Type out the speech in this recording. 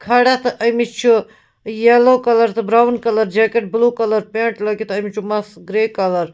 کھڑا تہٕ أمِس چُھ یلو کلر تہٕ brown colour jacket blue .colour pant لٲگِتھ أمِس چُھ مَس گرے کلر